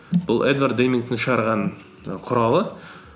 бұл эдвард деймингтің шығарған і құралы